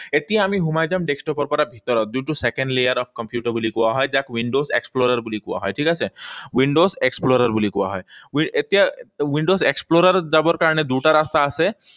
এতিয়া আমি সোমাই যাম desktop ৰ পৰা ভিতৰত, যোনটো second layer of computer বুলি কোৱা হয়, যাক windows explorer বুলি কোৱা হয়। ঠিক আছে? Windows explorer বুলি কোৱা হয়। এতিয়া windows explorer যাব কাৰণে দুটা ৰাস্তা আছে।